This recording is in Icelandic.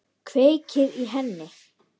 Kveikir í henni.